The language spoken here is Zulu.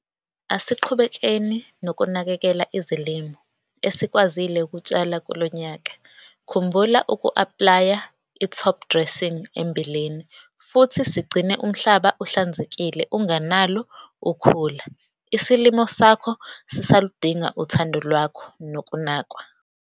Asiqhubekeni nokunakekela izilimo esikwazile ukutshala kulo nyaka - Khumbula uku-aplaya i-topdressing embileni, futhi sigcine umhlaba uhlanzekile ungenalo ukhula - isilimo sakho sisaludinga uthando lwakho nokunakwa.